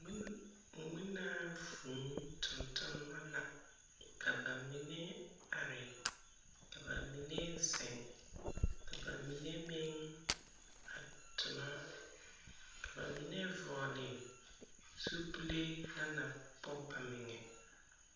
Ŋmen ŋmenaa vūū tontonema la. Ka ba mine are, ka ba mine zeŋ, ka ba mine meŋ a tona, ka ba mine vɔgle zupilee na na pɔge ba meŋɛ.